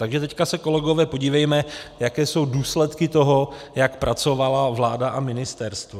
Takže teď se, kolegové, podívejme, jaké jsou důsledky toho, jak pracovala vláda a ministerstvo.